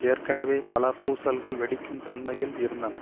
ஏற்கனவே பல பூசல்கள் வெடிக்கும் தன்மையில் இருந்ந்தன